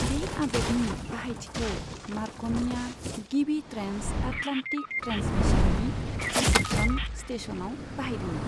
बे आदबनि बाहायथिखौ मार्क'निया गिबि ट्रेन्स आटलान्टिक ट्रेन्समिसननि रिसेपसन स्टेसनाव बाहायदोंमोन।